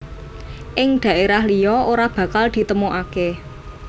Ing daerah liya ora bakal ditemukake